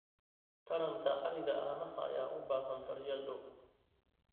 Taranta ariga caanaha ayaa u baahan daryeel dhow.